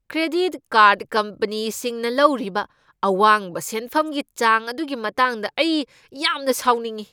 Credit card ꯀꯝꯄꯅꯤꯁꯤꯡꯅ ꯂꯧꯔꯤꯕ ꯑꯋꯥꯡꯕ ꯁꯦꯟꯐꯝꯒꯤ ꯋꯥꯡ ꯑꯗꯨꯒꯤ ꯃꯇꯥꯡꯗ ꯑꯩ ꯌꯥꯝꯅ ꯁꯥꯎꯅꯤꯡꯏ ꯫